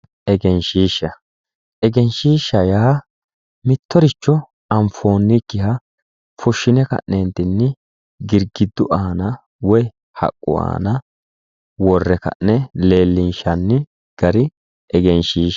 Egensishsha, egenshishsha yaa mittoricho anfoonikkiha fushine ka'nentinni girgidu aana woyi haqqu aana worre ka'ne leellishanni gari egenshiishsha .